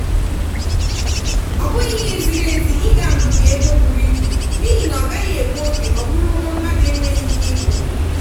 ọ bụghị ihe ziri ezi ị ga mbibi ego buru ibu n'ihi na ọ gaghị egbu oge ọ bụrụ ụgwọ mmadụ enweghị ike ịkwụ.